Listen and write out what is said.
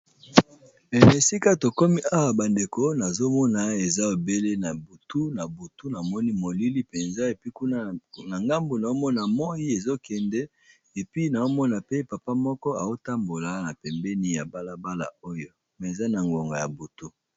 Esika tokomi awa bandeko nazomona eza ebele na butu na butu na moni molili mpenza epi kuna na ngambu naomona moyi ezokende epi naomona pe papa moko eotambola na pembeni ya balabala oyo me eza na ngongo ya butu